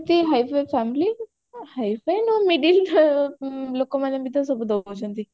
ମାନେ ଏମିତି high fi family high fi ନୁହଁ ମାନେ ଏମିତି middle ଲୋକମାନେ ବି ତ ସବୁ ଦଉଛନ୍ତି